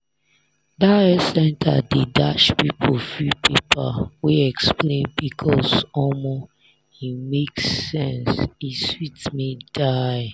dat health center dey dash people free paper wey explain pcos omo e make sense e sweet me die.